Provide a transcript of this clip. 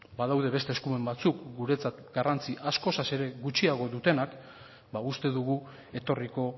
badaude beste eskumen batzuk guretzat garrantzi askoz ere gutxiago dutenak ba uste dugu etorriko